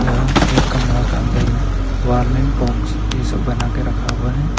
यहां एक कमरा के अंदर में वार्निंग बॉक्स कैसे बना के रखा हुआ है।